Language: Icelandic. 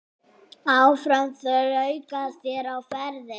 Áfram hér þrauka á verði.